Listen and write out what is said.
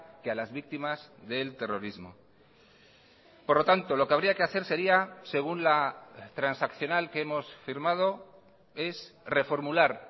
que a las víctimas del terrorismo por lo tanto lo que habría que hacer seria según la transaccional que hemos firmado es reformular